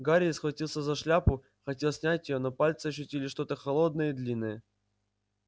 гарри схватился за шляпу хотел снять её но пальцы ощутили что-то холодное и длинное